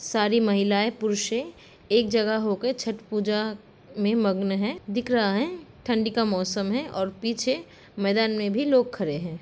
सारी महिलाएं पुरषे एक जगह होके छठ पूजा में मगन है दिख रहा है ठंडी का मौसम है और पीछे मैदान में भी लोग खड़े हैं।